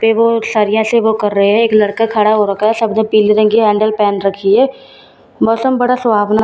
पे वो एक सरिया से वो कर रहे हैं एक लड़का खड़ा हो रखा है सब लोगों ने पीले रंग की हैंडल पहन रखी है मौसम बड़ा सुहावना --